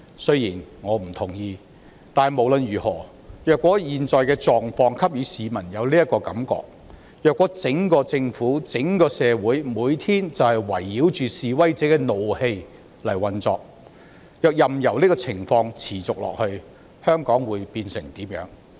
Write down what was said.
雖然我不同意這說法，但無論如何，若現在的狀況給予市民這種感覺，若整個政府、整個社會每天就是圍繞着示威者的怒氣運作，任由這情況持續下去，香港會變成怎麼樣？